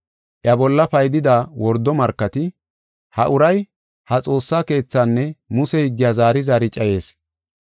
Iya bolla paydida wordo markati, “Ha uray ha xoossa keethaanne Muse higgiya zaari zaari cayees.